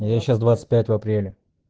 я сейчас двадцать пятого апреля